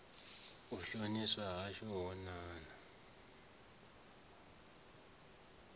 u shoniswa hashu ho ṋaṋa